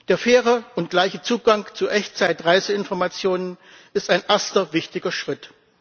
Der faire und gleiche Zugang zu Echtzeit Reiseinformationen ist ein erster wichtiger Schritt.